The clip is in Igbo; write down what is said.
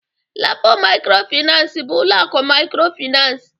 LAPO mikrofinansi bụ ụlọ akụ mikrofinansi.